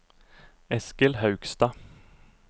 Eskil Haugstad